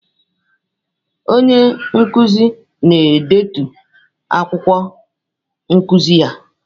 Onye nkuzi na-edetu akwụkwọ nkuzi ya.